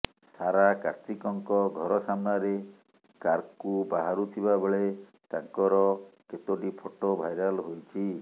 ସାରା କାର୍ତ୍ତିକଙ୍କ ଘର ସାମ୍ନାରେ କାର୍କୁ ବାହାରୁଥିବା ବେଳେ ତାଙ୍କର କେତୋଟି ଫଟୋ ଭାଇରାଲ୍ ହୋଇଛି